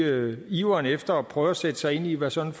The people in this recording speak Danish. iveren efter at prøve at sætte sig ind i hvad sådan